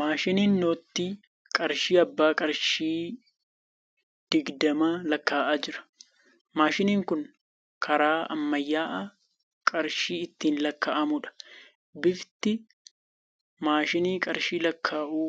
Maashiniin noottii qarshii abbaa qarshii digdamaa lakkaa'aa jira. Maashinni kun karaa ammayyaa'aa qarshii ittiin lakkaa'amuudha. Bifti. maashina qarshii lakkaa'uu